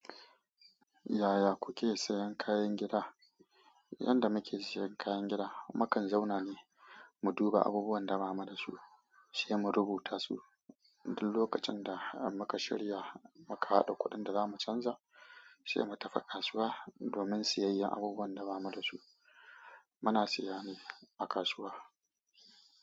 Yaya kuke sayan kayan gida? Yanda muke sayan kayan gida, mukan zauna ne mu duba abubuwan da ba mu da su, sai mu rubuta su. Duk lokacin da muka shirya, muka haɗa kuɗin da za mu canza, sai mu tafi kasuwa domin siyayyar abubuwan da ba mu da su. Muna siya ne a kasuwa.